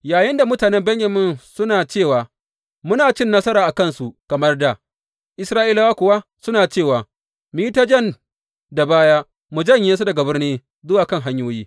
Yayinda mutanen Benyamin suna cewa, Muna cin nasara a kansu kamar dā, Isra’ilawa kuwa suna cewa, Mu yi ta jan da baya mu janye su daga birni zuwa kan hanyoyi.